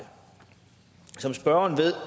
som spørgeren ved